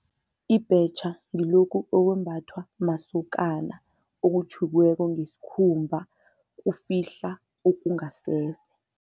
Ibhetjha ngilokhu okwembathwa masokana, okutjhukweko ngesikhumba, kufihla okungasese.